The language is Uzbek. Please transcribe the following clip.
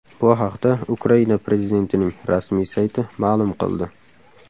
Bu haqda Ukraina prezidentining rasmiy sayti ma’lum qildi .